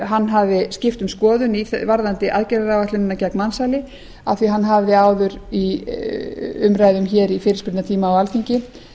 hann hafi skipt um skoðun varðandi aðgerðaáætlunina gagnvart mansali af því að hann hafði áður í umræðum í fyrirspurnatíma á alþingi